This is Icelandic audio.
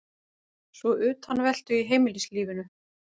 Svo utanveltu í heimilislífinu.